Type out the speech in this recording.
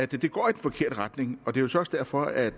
det går i den forkerte retning og det er så også derfor at